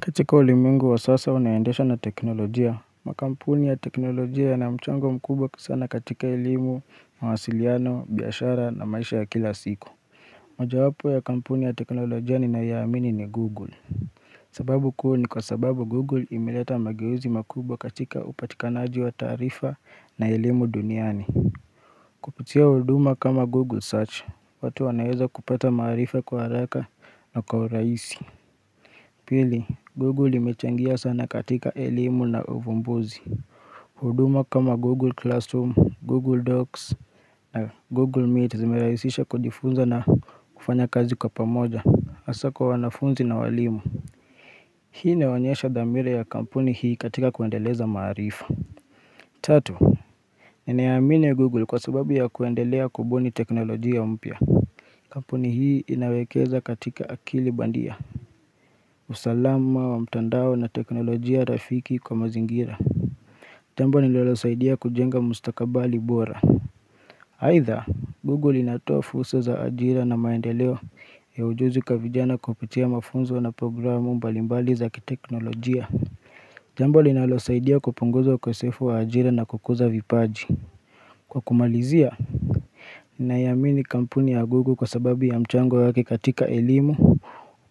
Katika ulimengu wa sasa unaendeshwa na teknolojia, makampuni ya teknolojia yana mchango mkubwa sana katika elimu, mawasiliano, biashara na maisha ya kila siku mojawapo ya kampuni ya teknolojia ninayoiamini ni google sababu kuu ni kwa sababu google imeleta mageuzi makubwa katika upatikanaji wa tarifa na elimu duniani Kupitia huduma kama google search, watu wanaweza kupata marifa kwa haraka na kwa urahisi Pili Google imechangia sana katika elimu na uvumbuzi huduma kama Google Classroom, Google Docs na Google Meet zimerahisisha kujifunza na kufanya kazi kwa pamoja hasa kwa wanafunzi na walimu Hii inaonyesha dhamira ya kampuni hii katika kuendeleza maarifa Tatu ninaiamini Google kwa sababu ya kuendelea kubuni teknolojia mpya Kampuni hii inawekeza katika akili bandia usalama wa mtandao na teknolojia rafiki kwa mazingira Jambo linalosaidia kujenga mustakabali bora Aidha, Google inatoa fursa za ajira na maendeleo ya ujuzi kwa vijana kupitia mafunzo na programu mbalimbali za kiteknolojia Jambo linalosaidia kupunguza ukosefu wa ajira na kukuza vipaji Kwa kumalizia, ninaiamini kampuni ya Google kwa sababu ya mchango wake katika elimu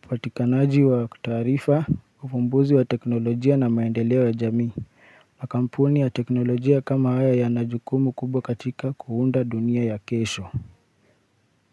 upatikanaji wa taarifa, ufumbuzi wa teknolojia na maendeleo ya jamii, makampuni ya teknolojia kama haya yana jukumu kubwa katika kuunda dunia ya kesho.